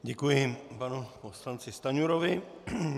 Děkuji panu poslanci Stanjurovi.